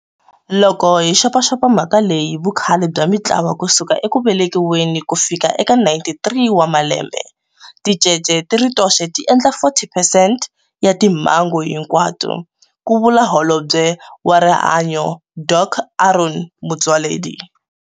Loko hi xopaxopa mhaka leyi hi vukhale bya mitlawa ku suka eku velekiweni ku fika eka 93 wa malembe, ticece ti ri toxe ti endla 40 percent ya timhangu hinkwato, ku vula Holobye wa Rihanyo Dok Aaron Motsoaledi.